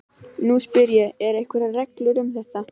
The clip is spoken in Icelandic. Nú spyr ég- eru einhverjar reglur um þetta?